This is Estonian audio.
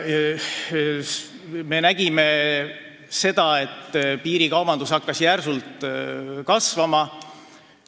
Me nägime, et piirikaubandus hakkas järsult kasvama.